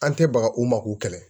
An tɛ baga u ma k'u kɛlɛ